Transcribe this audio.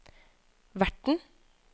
verten